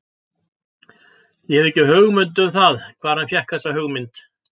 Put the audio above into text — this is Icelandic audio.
Ég hef ekki hugmynd um það hvar hann fékk þessa hugmynd.